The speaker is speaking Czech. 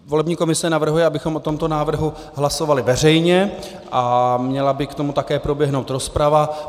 Volební komise navrhuje, abychom o tomto návrhu hlasovali veřejně, a měla by k tomu také proběhnout rozprava.